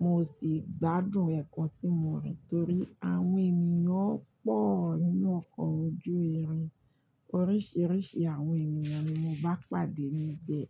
mo sì gbádùn ẹ̀ẹ̀kan tí mo rìn torí àwọn ènìyàn pọ̀ nínú ọkọ̀ ojú irin, oríṣiríṣi àwọn ènìyàn ni mo bá pàdé níbẹ̀.